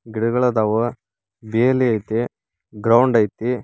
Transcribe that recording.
ಗಿಡಗೊಳ ಅದಾವ ಬೇಲಿ ಐತಿ ಗ್ರೌಂಡ್ ಐತಿ.